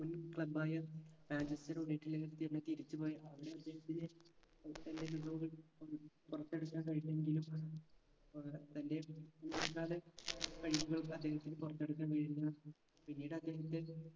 മുൻ club ആയ Manchester united ലേക്കെത്തിയന്നെ തിരിച്ചു പോയി അവിടുന്ന് അദ്ദേഹത്തിന് ഏർ തന്റെ മികവുകൾ ഒന്നും പുറത്തെടുക്കാൻ കഴിഞ്ഞെങ്കിലും അഹ് തൻറെ മുൻകാല കഴിവുകൾ അദ്ദേഹത്തിന് പുറത്തെടുക്കാൻ കഴിഞ്ഞു പിന്നീട് അദ്ദേഹത്തെ